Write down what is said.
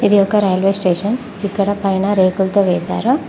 ఇది ఒక railway station ఇక్కడ పైన రేకులతో వేసారు.